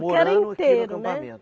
Porque era inteiro, né?